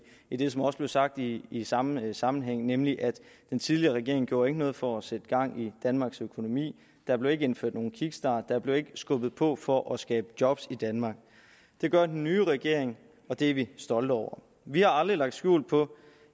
i det som også blev sagt i i samme sammenhæng nemlig at den tidligere regering ikke gjorde noget for at sætte gang i danmarks økonomi der blev ikke indført nogen kickstart der blev ikke skubbet på for at skabe job i danmark det gør den nye regering og det er vi stolte over vi har aldrig lagt skjul på